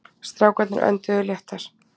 Strákarnir önduðu léttar.